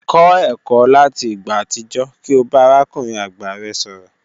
Kọ ẹkọ lati igba atijọ ki o ba arakunrin agba rẹ sọrọ.